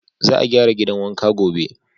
Za a gyara gidan wankan gobe.